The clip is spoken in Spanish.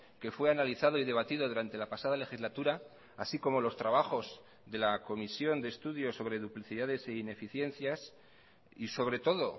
que fue analizado y debatido durante la pasada legislatura así como los trabajos de la comisión de estudios sobre duplicidades e ineficiencias y sobre todo